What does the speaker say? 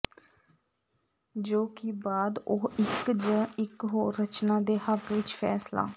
ਜੋ ਕਿ ਬਾਅਦ ਉਹ ਇੱਕ ਜ ਇਕ ਹੋਰ ਰਚਨਾ ਦੇ ਹੱਕ ਵਿਚ ਫੈਸਲਾ